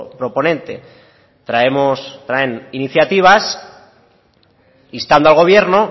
proponente traemos o traen iniciativas instando al gobierno